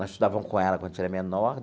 Nós estudávamos com ela quando a gente era menor.